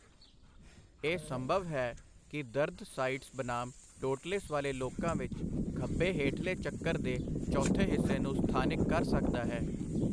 ਇਹ ਸੰਭਵ ਹੈ ਕਿ ਦਰਦ ਸਾਈਟਸ ਬਨਾਮ ਟੋਟਲਿਸ ਵਾਲੇ ਲੋਕਾਂ ਵਿੱਚ ਖੱਬੇ ਹੇਠਲੇ ਚੱਕਰ ਦੇ ਚੌਥੇ ਹਿੱਸੇ ਨੂੰ ਸਥਾਨਿਕ ਕਰ ਸਕਦਾ ਹੈ।